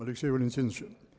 алексей валентинович